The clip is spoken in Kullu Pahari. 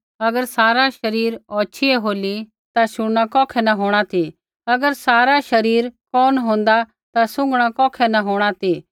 अगर सारा शरीर औछ़ी ही होली ता शुणना कौखै न होंणा ती अगर सारा शरीर कोन होन्दा ता सूंघणा कौखै न होंणा ती